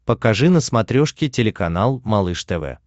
покажи на смотрешке телеканал малыш тв